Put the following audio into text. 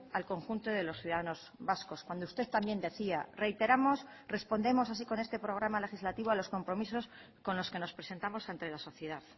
al conjunto de los ciudadanos vascos cuando usted también decía reiteramos respondemos así con este programa legislativo a los compromisos con los que nos presentamos ante la sociedad